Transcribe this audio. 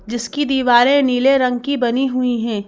जिसकी दीवारें नीले रंग की बनी हुई हैं।